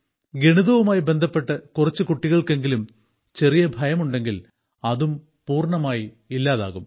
ഗണിതവുമായി ബന്ധപ്പെട്ട് കുറച്ച് കുട്ടികൾക്കെങ്കിലും ചെറിയ ഭയം ഉണ്ടെങ്കിൽ അതും പൂർണ്ണമായും ഇല്ലാതാകും